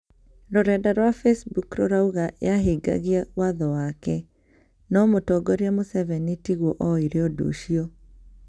Rũrenda rwa facebook rũrauga yahingagia watho wake no mũtongoria Museveni tigwo oire ũndu ũcio